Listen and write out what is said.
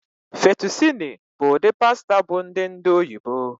Fettucini bụ ụdị pasta bụ ndị ndị oyibo